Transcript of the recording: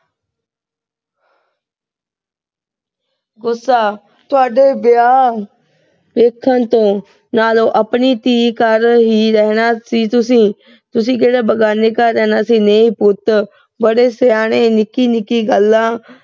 ਅਹ ਗੁੱਸਾ, ਤੁਹਾਡੇ ਵਿਆਹ ਦੇਖਣ ਤੋਂ। ਨਾਲੇ ਆਪਣੀ ਧੀ ਦੇ ਘਰ ਹੀ ਰਹਿਣਾ ਸੀ ਤੁਸੀਂ। ਤੁਸੀਂ ਕਿਹੜਾ ਬਗਾਨੇ ਘਰ ਰਹਿਣਾ ਸੀ। ਨਹੀਂ ਪੁੱਤ। ਬੜੇ ਸਿਆਣੇ ਨਿੱਕੀ-ਨਿੱਕੀ ਗੱਲਾਂ